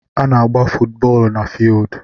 Ana agba footu bóólú na fieeldu